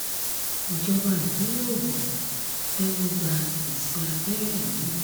ìjọba ìpínlẹ̀ ògún tẹ́wọ́-gbá ìsì abẹ́rẹ́ mi